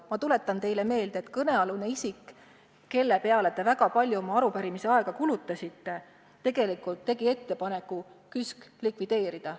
Ma tuletan teile meelde, et kõnealune isik, kelle peale te väga palju oma arupärimise aega kulutasite, tegi tegelikult ettepaneku KÜSK likvideerida.